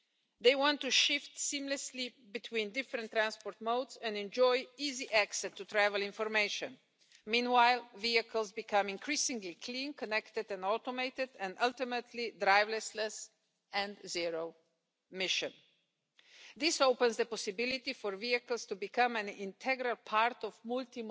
en este informe de propia iniciativa. La revolución de la movilidad digital y las nuevas tecnologías inteligentes constituyen todo un fenómeno, que es producir una situación imparable e irreversible afectan a la modernidad, formas y modos de transporte del futuro, en el que, de acuerdo con las modernas tesis de comodalidad, tienen que actuar en simbiosis, por lo que tendremos que estar